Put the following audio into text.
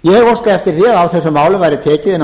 ég hef óskað eftir því að á þessum málum væri tekið innan